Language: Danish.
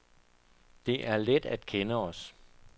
Det er let at kende os.